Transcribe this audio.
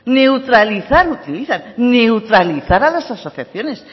neutralizar utilizan neutralizar a las asociaciones